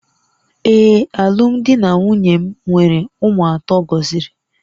Ee, alụmdi na nwunye m nwere ụmụ atọ gọziri